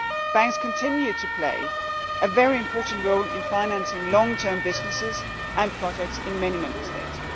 Banks continue to play a very important role in financing long term businesses and projects in many Member States.